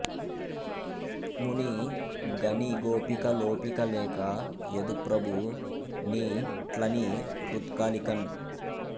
త్మునిఁ గని గోపిక లోపిక లేక యదుప్రభు ని ట్లని రుత్కలికన్